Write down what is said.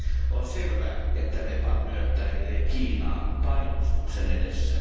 On selvää, että Nepal myötäilee Kiinaa painostuksen edessä.